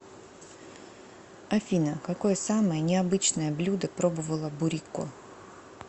афина какое самое необычное блюдо пробовала бурико